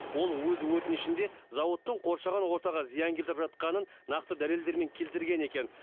ол өз өтінішінде зауыттың қоршаған ортаға зиян келтіріп жатқанын нақты дәлелдермен келтірген екен